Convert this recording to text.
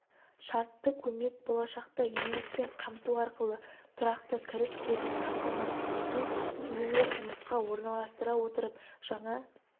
шартты көмек болашақта еңбекпен қамту арқылы тұрақты кіріс көзін қамтамасыз ету кейінірек жұмысқа орналастыра отырып жаңа